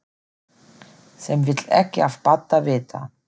Sem vill ekki af Badda vita.